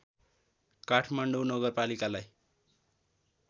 Kathmandu नगरपालिकालाई